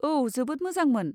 औ, जोबोद मोजांमोन।